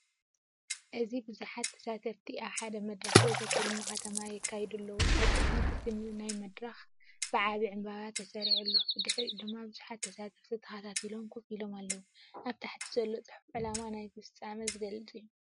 እዚ ብዙሓት ተሳተፍቲ ኣብ ሓደ መድረኽ ዘተ ትልሚ ከተማ የካይዱ ኣለው። ኣብ ቅድሚት እቲ ናይ መደረ መድረክ ብዓቢ ዕምባባ ተሰሪዑ ኣሎ፣ ብድሕሪኡ ድማ ብዙሓት ተሳተፍቲ ተኸታቲሎም ኮፍ ኢሎም ኣለው። ኣብ ታሕቲ ዘሎ ጽሑፍ ዕላማ ናይቲ ፍጻመ ዝገልጽ እዩ።